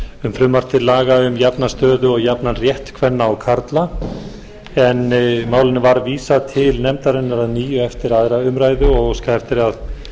um frumvarp til laga um jafna stöðu og jafnan rétt kvenna og karla en málinu var vísað til nefndarinnar að nýju eftir aðra umræðu og óskað eftir að